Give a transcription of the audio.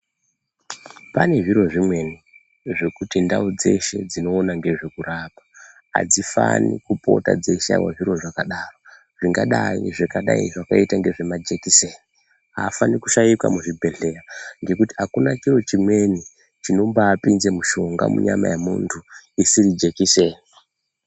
Pane zviro zvimweni zvekuti ndau dzeshe dzinoona ngezvekurapa adzifani kupota dzeishaiwa zviro zvakadaro, zvingadai zvakaita kunga zvimajekiseni, aafanikwi kushaika muzvibhedhlera ngekuti akuna chiro chimweni chinombaapinza mushonga munyama yemuntu isiri jekiseni.